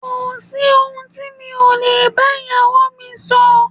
Kò sí ohun tí mi ò lè bá ìyáà mi sọ.